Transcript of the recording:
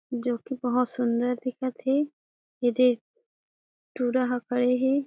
जोकी बहोत सुन्दर दिखत हे एदे टुरा ह खड़े हे।